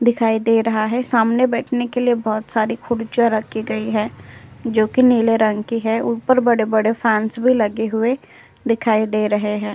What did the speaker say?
दिखाई दे रहा है सामने बैठने के लिए बहोत सारी खुर्चिया राखी गई है जो कि नीले रंग की है ऊपर बड़े-बड़े फैंस भी लगे हुए दिखाई दे रहे है।